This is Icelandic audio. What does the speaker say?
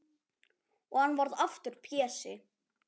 Og hann varð aftur Pési.